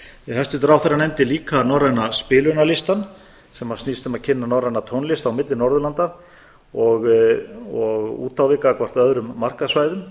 hæstvirtur ráðherra nefndi líka norræna spilunarlistann sem snýst um að kynna norræna tónlist á milli norðurlanda og út á við gagnvart öðrum markaðssvæðum